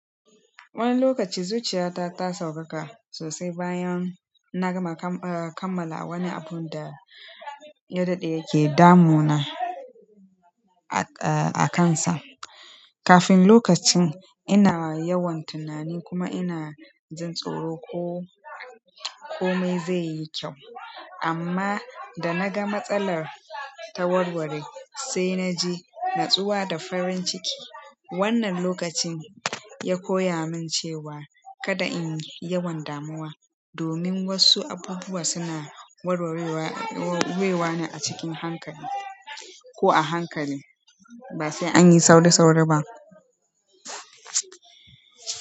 Wani lokaci zuciyata ta sauƙaƙa sosai bayan na gama kammala wani abun da ya daɗe yake damuna a kansa. Kafin lokacin ina yawan tunani kuma ina jin tsoro ko komai zai yi kyau amma da naga matsalar ta warware sai naji natsuwa da farin ciki. Wannan lokacin ya koya min cewa kada in yi yawan damuwa domin wasu abubuwa suna warwarewa ne a cikin hankali ko a hankali ba sai anyi sauri-sauri ba.